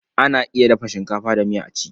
Ana iya dafa shinkafa da miya a ci.